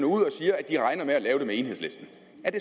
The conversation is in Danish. ud og siger at de regner med at lave det med enhedslisten